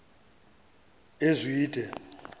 ezwide